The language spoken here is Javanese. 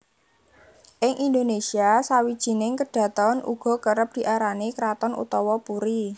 Ing Indonésia sawijining kedhaton uga kerep diarani kraton utawa puri